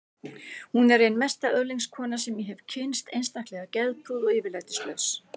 Hún er ein mesta öðlingskona sem ég hef kynnst, einstaklega geðprúð og yfirlætislaus.